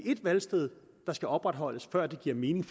et valgsted der skal opretholdes før det giver mening